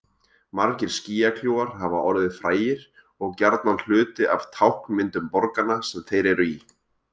Margir skýjakljúfar hafa orðið frægir og gjarnan hluti af táknmyndum borganna sem þeir eru í.